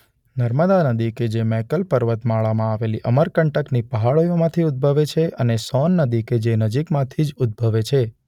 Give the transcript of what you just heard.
નર્મદા નદી કે જે મૈકલની પર્વતમાળામાં આવેલા અમરકંટકની પહાડીઓમાંથી ઉદભવે છે અને સોન નદી કે જે નજીકમાંથી જ ઉદભવે છે.